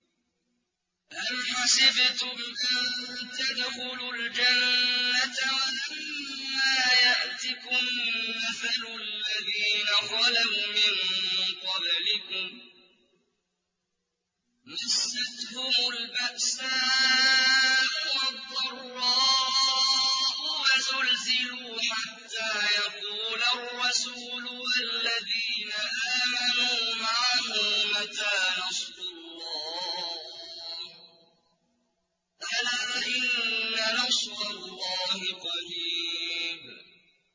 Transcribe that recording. أَمْ حَسِبْتُمْ أَن تَدْخُلُوا الْجَنَّةَ وَلَمَّا يَأْتِكُم مَّثَلُ الَّذِينَ خَلَوْا مِن قَبْلِكُم ۖ مَّسَّتْهُمُ الْبَأْسَاءُ وَالضَّرَّاءُ وَزُلْزِلُوا حَتَّىٰ يَقُولَ الرَّسُولُ وَالَّذِينَ آمَنُوا مَعَهُ مَتَىٰ نَصْرُ اللَّهِ ۗ أَلَا إِنَّ نَصْرَ اللَّهِ قَرِيبٌ